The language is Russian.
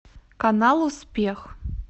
канал успех